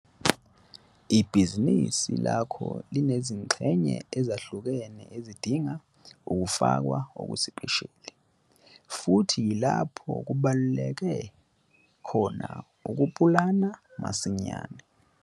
Ibhizinisi lakho linezingxenye ezahlukene ezizodinga ukunakwa okusipesheli futhi yilapho kubaluleke khona ukupulana masinyane.